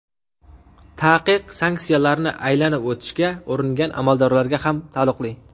Taqiq sanksiyalarni aylanib o‘tishga uringan amaldorlarga ham taalluqli.